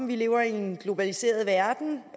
vi lever i en globaliseret verden